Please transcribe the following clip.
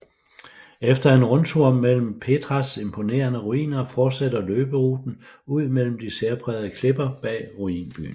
Efter en rundtur mellem Petras imponerende ruiner fortsætter løberuten ud mellem de særprægede klipper bag ruinbyen